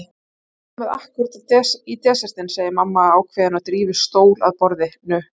Þið komið ákkúrat í desertinn, segir mamma ákveðin og drífur stól að borðinu.